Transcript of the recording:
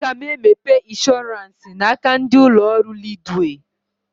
Aga m emepe ịnshọransị n'aka ndị ụlọ ọrụ Leedwey